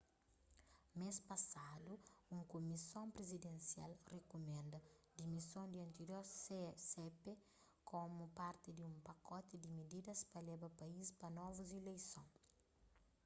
mês pasadu un kumison prizidensial rikumenda dimison di antirior cep komu parti di un pakoti di mididas pa leba país pa novus ileison